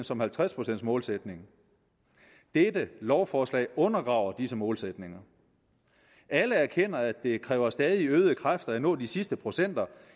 som 50 målsætningen dette lovforslag undergraver disse målsætninger alle erkender at det kræver stadig øgede kræfter at nå de sidste procenter